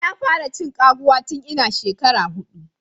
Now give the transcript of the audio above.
Na fara cin kwaguwa tun ina shekara hudu.